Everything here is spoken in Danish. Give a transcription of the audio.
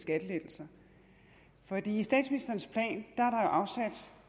skattelettelser for i statsministerens plan er afsat